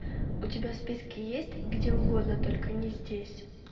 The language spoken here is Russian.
у тебя в списке есть где угодно только не здесь